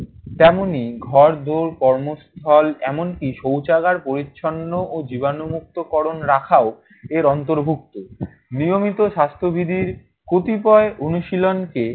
তেমনি ঘোড়দৌড়, কর্মস্থল এমনকি শৌচাগার পরিচ্ছন্ন ও জীবাণুমুক্তকরণ রাখাও এর অন্তর্ভুক্ত। নিয়মিত স্বাস্থ্যবিধির কতিপয় অনুশীলনকে